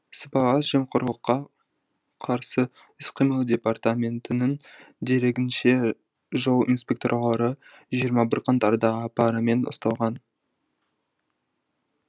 сыбайлас жемқорлыққа қарсы іс қимыл департаментінің дерегінше жол инспекторлары жиырма бір қаңтарда парамен ұсталған